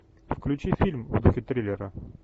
включи фильм в духе триллера